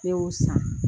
Ne y'o san